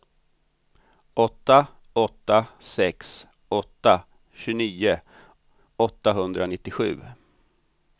åtta åtta sex åtta tjugonio åttahundranittiosju